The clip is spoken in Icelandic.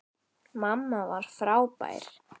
Mamma var frábær.